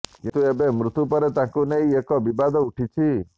କିନ୍ତୁ ଏବେ ମୃତ୍ୟୁ ପରେ ତାଙ୍କୁ ନେଇ ଏକ ବିବାଦ ଉଠିଛି